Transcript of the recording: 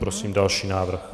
Prosím další návrh.